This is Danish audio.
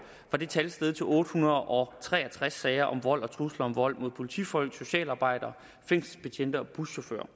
var det tal steget til otte hundrede og tre og tres sager om vold og trusler om vold mod politifolk socialarbejdere fængselsbetjente og buschauffører